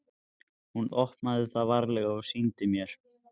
Hún opnaði það varlega og sýndi mér.